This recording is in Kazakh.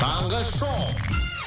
таңғы шоу